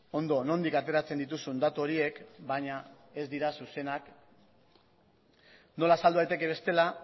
ondo nondik ateratzen dituzun datu horiek baina ez dira zuzenak nola azaldu daiteke bestela